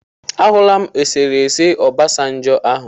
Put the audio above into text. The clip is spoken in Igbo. Ahụla m esere ese Obasanjo ahụ.